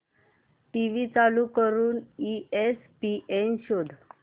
TV चालू करून ESPN शोध